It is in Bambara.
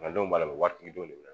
Fantanw b'a la waritigi denw de bɛ